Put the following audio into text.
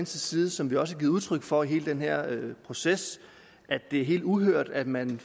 side som vi også har givet udtryk for i hele den her proces at det er helt uhørt at man